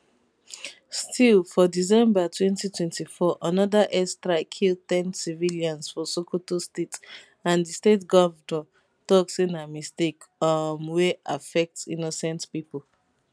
still for december 2024 anoda airstrike kill ten civilians for sokoto state and di state govnor tok say na mistake um wey affect innocent pipo